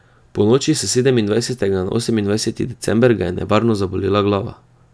Ponoči s sedemindvajsetega na osemindvajseti december ga je nevarno zabolela glava.